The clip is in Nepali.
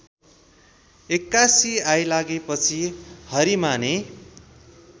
एक्कासि आइलागेपछि हरिमाने